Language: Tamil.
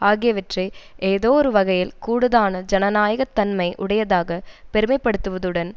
ஆகியவற்றை ஏதோ ஒரு வகையில் கூடுதான ஜனநாயக தன்மை உடையதாக பெருமைப்படுத்துவதுடன்